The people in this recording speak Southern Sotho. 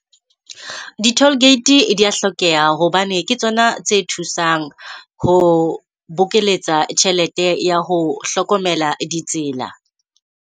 Di-toll gate di ya hlokeha hobane ke tsona tse thusang ho bokeletsa tjhelete ya ho hlokomela ditsela.